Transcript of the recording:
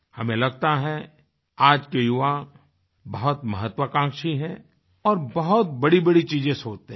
हमें लगता है आज के युवा बहुत महत्वाकांक्षी हैं और बहुत बड़ीबड़ी चीज़ें सोचते हैं